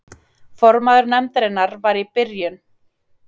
Formaður nefndarinnar var í byrjun